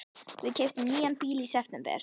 Við keyptum nýjan bíl í september.